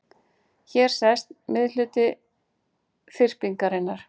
Hér sést miðhluti þyrpingarinnar.